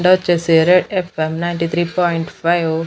డ వచ్చేసి F M ninety three point five .